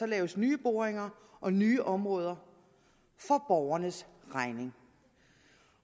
laves nye boringer og nye områder for borgernes regning